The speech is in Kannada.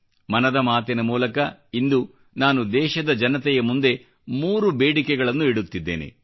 ಮನದ ಮಾತಿನ ಮೂಲಕ ಇಂದು ನಾನು ದೇಶದ ಜನತೆಯ ಮುಂದೆ ಮೂರು ಬೇಡಿಕೆಗಳನ್ನು ಇಡುತ್ತಿದ್ದೇನೆ